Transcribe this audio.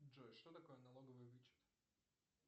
джой что такое налоговый вычет